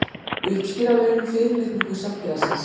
Uppsker að launum fyrirlitningu samfélagsins!